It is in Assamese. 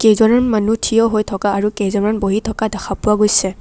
কেইজনমান মানুহ থিয় হৈ থকা আৰু কেইজনমান বহি থকা দেখা পোৱা গৈছে।